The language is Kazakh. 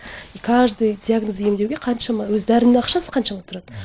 и каждый диагноз емдеуге қаншама өзі дәрінің ақшасы қаншама тұрады